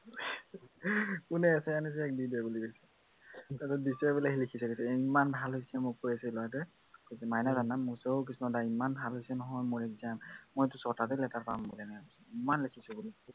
কোনে essay আনিছ, ইয়াক দি দে বুলি কৈছে। আৰু দিছে বোলে সি লিখিছে বোলে, ইমান ভাল হৈছে মোক কৈ আছে লৰাটোৱে। মাইনা তাৰ নাম। সি মোক কৈছে অ কৃষ্ণ দা ইমান ভাল হৈছে নহয় মোৰ exam । মই ছয়টাতে letter পাম বোলে এনেকে কৈছে, ইমান লিখিছে বোলে।